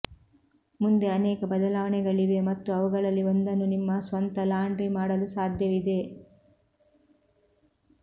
ಮುಂದೆ ಅನೇಕ ಬದಲಾವಣೆಗಳಿವೆ ಮತ್ತು ಅವುಗಳಲ್ಲಿ ಒಂದನ್ನು ನಿಮ್ಮ ಸ್ವಂತ ಲಾಂಡ್ರಿ ಮಾಡಲು ಸಾಧ್ಯವಿದೆ